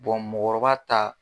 mɔgɔkɔrɔba ta.